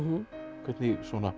hvernig